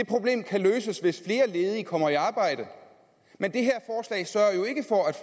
problem kan løses hvis flere ledige kommer i arbejde men det